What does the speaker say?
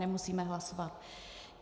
Nemusíme hlasovat.